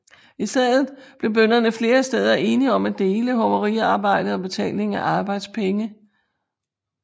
I stedet blev bønderne flere steder enige om at dele hoveriarbejdet og betalingen af arbejdspenge